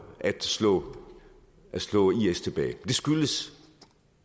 at slå slå is tilbage det skyldes